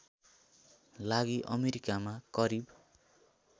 लागि अमेरिकामा करिब